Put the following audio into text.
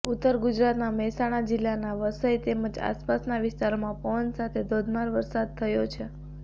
ઉત્તર ગુજરાતના મહેસાણા જિલ્લાના વસઈ તેમજ આસપાસના વિસ્તારોમાં પવન સાથે ધોધમાર વરસાદ થયો છે